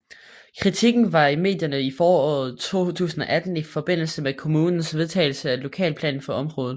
Kritikken var i medierne i foråret 2018 i forbindelse med kommunens vedtagelse af lokalplanen for området